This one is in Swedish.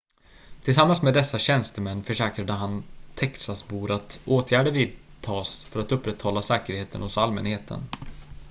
tillsammans med dessa tjänstemän försäkrade han texasbor att åtgärder vidtas för att upprätthålla säkerheten hos allmänheten